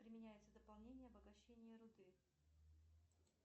применяется дополнение обогащения руды